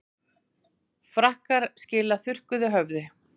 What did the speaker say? Frakkar skila þurrkuðu höfði